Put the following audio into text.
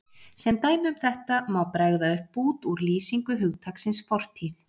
Sem dæmi um þetta má bregða upp bút úr lýsingu hugtaksins fortíð